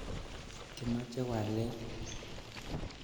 Kimoche walet .